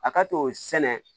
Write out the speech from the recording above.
A ka t'o sɛnɛ